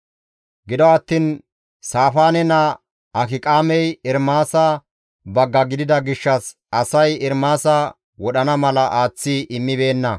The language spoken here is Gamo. Gido attiin Saafaane naa Akiqaamey Ermaasa bagga gidida gishshas asay Ermaasa wodhana mala aaththi immibeenna.